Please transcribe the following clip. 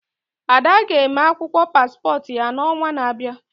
Ada ga eme akwụkwọ paspọt ya n'ọnwa n'abịa